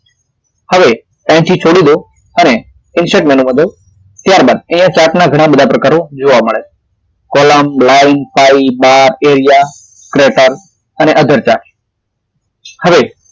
હવે અહીથી છોડી દો અને insert menu કર દવ ત્યારબાદ તે chart ના ઘણા બધા પ્રકારો જોવા મળે column line bar area creatorother chart હવે